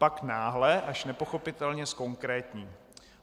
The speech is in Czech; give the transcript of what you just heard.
Pak náhle, až nepochopitelně, zkonkrétní.